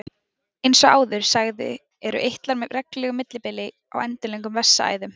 eins og áður sagði eru eitlar með reglulegu millibili á endilöngum vessaæðum